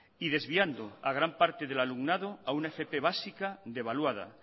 y desviando a gran parte del alumnado a una fp básica devaluada